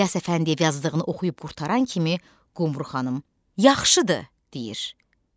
İlyas Əfəndiyev yazdığını oxuyub qurtaran kimi Qumru xanım, yaxşıdır deyir.